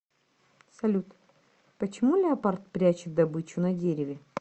салют почему леопард прячет добычу на дереве